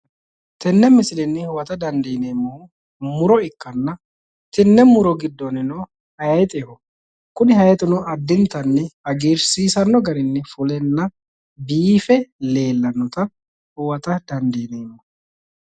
tenne misilenni huwata dandiineemmohu muro ikkanna tenne muro giddonnino hayixeho kuni hayiixino addintanni hagiirsiisanno garinni fuleenna biife leellannota huwata dandiineemmo.